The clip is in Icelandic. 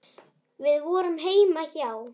Við vorum heima hjá